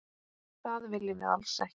Það viljum við alls ekki.